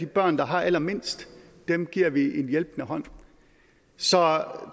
børn der har allermindst giver vi en hjælpende hånd så